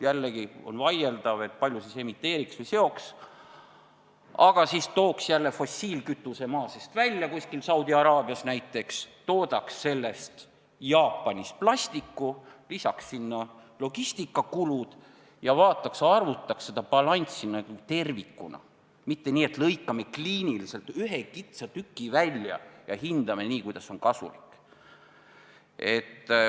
Jällegi on vaieldav, kui palju CO2 emiteeritaks või seotaks siis: kui tooks fossiilkütuse maa seest välja kuskil Saudi Araabias näiteks, toodaks sellest Jaapanis plasti, lisaks sinna logistikakulud ja vaataks-arvutaks seda balanssi tervikuna, mitte nii, et lõikame kliiniliselt ühe kitsa sektori välja ja hindame nii, kuidas on kasulik.